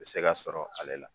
U bɛ se ka sɔrɔ ale la.